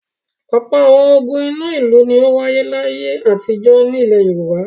Ọ̀pọ̀ àwọn ogun inú ìlú ni ó wáyé láyé àtijọ́ nílẹ̀ Yorùbá.